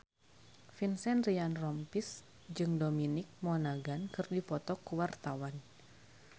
Vincent Ryan Rompies jeung Dominic Monaghan keur dipoto ku wartawan